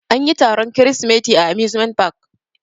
Anyi taron kirisimeti a amusement park.